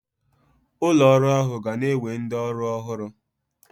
Ụlọ ọrụ ahụ ga na-ewe ndị ọrụ ọhụrụ